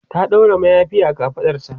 ta ɗaura mayafi a kafaɗarta